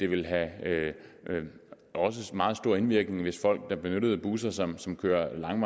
ville have meget stor indvirkning hvis folk der benyttede busser som som kører langt